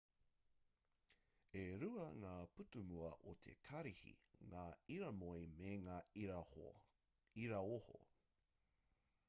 e rua ngā pūtūmua o te karihi ngā iramoe me ngā iraoho